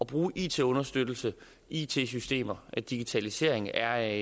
bruge it understøttelse it systemer og digitalisering er